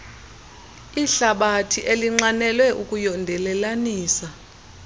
ihlabathi elinxanelwe ukuyondelelanisa